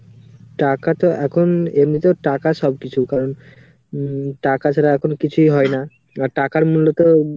টাকাটা এখন এর মধ্যে টাকা সব কিছু ধর উম টাকা ছাড়া এখন কিছুই হয় না আবার টাকার মূল্যকেও.